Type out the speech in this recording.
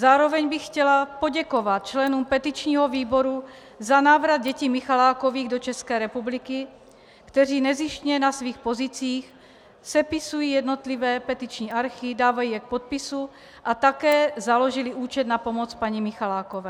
Zároveň bych chtěla poděkovat členům petičního výboru za návrat dětí Michalákových do České republiky, kteří nezištně na svých pozicích sepisují jednotlivé petiční archy, dávají je k podpisu a také založili účet na pomoc paní Michalákové.